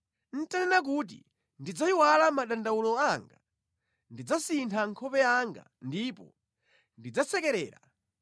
Nʼtanena kuti, ‘Ndidzayiwala madandawulo anga, ndidzasintha nkhope yanga ndipo ndidzasekerera,’